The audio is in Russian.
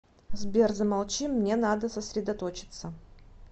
сбер замолчи мне надо сосредоточеться